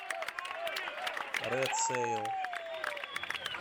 рэд сэйл